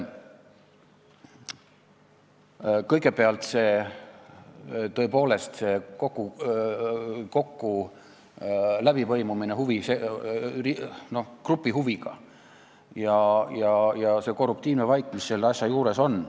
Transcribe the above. Kõigepealt see läbipõimumine grupi huvidega ja lisaks korruptiivne maik, mis selle asja juures on.